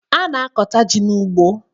A na-akọta ji n'ugbo